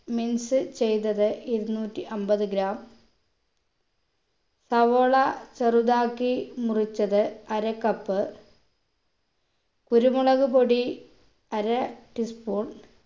mince ചെയ്തത് ഇരുന്നൂറ്റി അമ്പത് gram സവോള ചെറുതാക്കി മുറിച്ചത് അര cup കുരുമുളക് പൊടി അര tea spoon